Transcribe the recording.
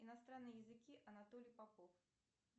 иностранные языки анатолий попов